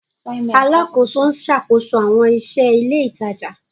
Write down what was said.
Alakoso n ṣakoso awọn iṣẹ ile itaja